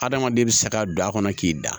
Adamaden bɛ saga don a kɔnɔ k'i da